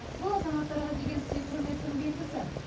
бұл азаматтарға деген сый құрметтің белгісі